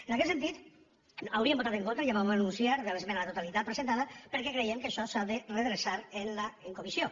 en aquest sentit hauríem votat en contra ja ho vam anunciar de l’esmena a la totalitat presentada perquè creiem que això s’ha de redreçar en comissió